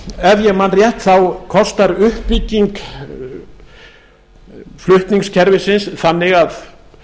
ef ég man rétt þá kostar uppbygging flutningskerfisins þannig ef að